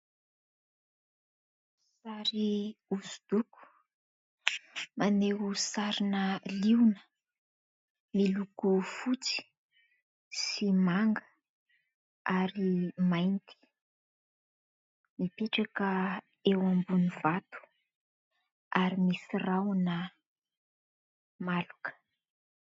Sary hoso-doko maneho sarina Liona miloko fotsy sy manga ary mainty. Mipetraka eo ambony vato ary misy rahona maloka.